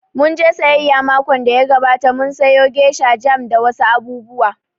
Mun je sayayya makon da ya gabata, mun sayo gesha, jam da wa su abubuwa